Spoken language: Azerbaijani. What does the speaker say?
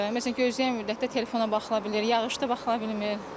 Məsələn, gözləmə müddətdə telefona baxıla bilir, yağışda baxıla bilmir.